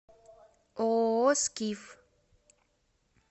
ооо скиф